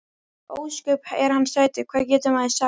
Ósköp er hann sætur, hvað getur maður sagt.